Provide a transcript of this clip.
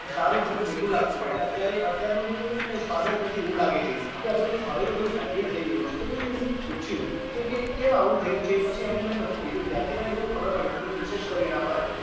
સારું અને મીઠું લાગતું અને અત્યારે અત્યારનું કઈ સ્વાદ જ નથી એવું લાગે છે આ બધું હવે તો બધું hybrid થઇ ગયું છે તો પછી મેં પૂછ્યું કે કે કેમ આવું થયું છે પછી એમને બધું કીધું ત્યારથી મને આ બધી ખબર પડી મેં થોડું research કર્યું એના પાર